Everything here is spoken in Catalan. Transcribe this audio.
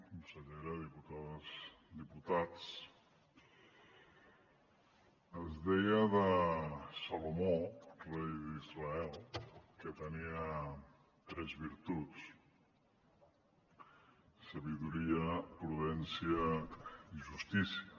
consellera diputades i diputats es deia de salomó rei d’israel que tenia tres virtuts saviesa prudència i justícia